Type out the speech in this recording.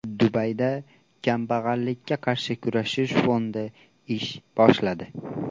Dubayda kambag‘allikka qarshi kurashish fondi ish boshladi.